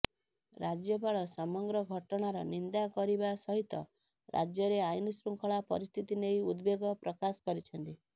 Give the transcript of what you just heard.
ରାଜ୍ୟପାଳ ସମଗ୍ର ଘଟଣାର ନିନ୍ଦା କରିବା ସହିତ ରାଜ୍ୟରେ ଆଇନଶୃଙ୍ଖଳା ପରିସ୍ଥିତି ନେଇ ଉଦବେଗ ପ୍ରକାଶ କରିଛନ୍ତି